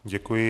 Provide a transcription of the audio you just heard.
Děkuji.